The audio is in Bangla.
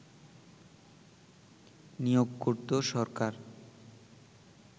নিয়োগ করত সরকার